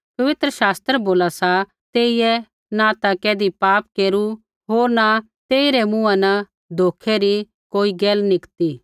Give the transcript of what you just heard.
पवित्र शास्त्र बोला सा तेइयै न ता कैधी पाप केरू होर न तेइरै मुँहा न धोखै री कोई गैल निकती